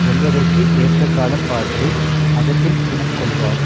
வெல்வதற்கு ஏற்ற காலம் பார்த்து அகத்தில் சினம் கொள்வார்